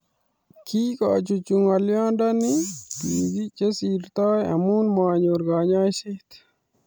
Kikochuchuch ngoliondoni bik che sirtoi amu manyor kanyoiset